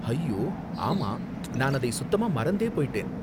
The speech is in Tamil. அய்யோ, ஆமா, நான் அதை சுத்தமா மறந்தே போயிட்டேன்.